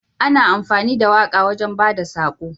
Ana amfani da waƙa wajan bada sako